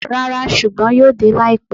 Rara, ṣugbọn yoo de laipẹ.